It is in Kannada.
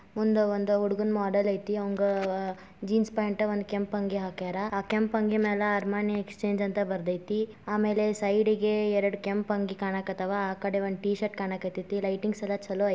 ಒಂದು ಹುಡುಗನ್ ಗೊಂಬೆ ಐತೆ ಅದಿಕ್ಕೆ ಕೆಂಪು ಟೀ-ಶರ್ಟ್ ಹಾಕಿದ್ದಾರೆ ಅದರ ಮೇಲೆ ಅರಮನೆ ಎಕ್ಸ್ಚೇಂಜ್ ಎಂದು ಬರೆದಿದ್ದಾರೆ ಸುತ್ತ ಲೈಟಿಂಗ್ಸ್ ಇದೆ ಚೆನ್ನಾಗ್ ಕಾಣಿಸ್ತಾ ಇದೆ.